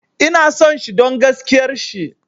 Ina son shi don gaskiar shi